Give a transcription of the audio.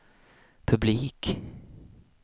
publik